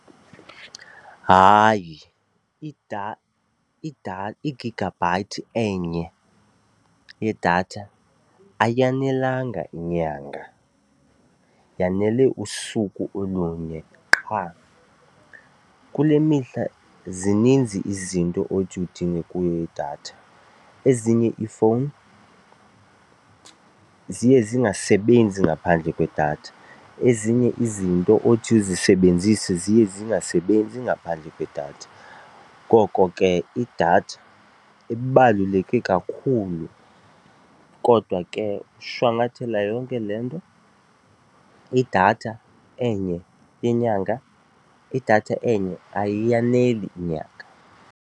Hayi, igigabhayithi enye yedatha ayanelanga inyanga yanele usuku olunye qha. Kule mihla zininzi izinto othi udinge kuyo datha. Ezinye ifowuni ziye zingasebenzi ngaphandle kwedatha, ezinye izinto othi uzisebenzise ziye zingasebenzi ngaphandle kwedatha. Ngoko ke idatha ibaluleke kakhulu kodwa ke ukushwankathela yonke le nto, idatha enye yenyanga, idatha enye ayiyaneli inyanga.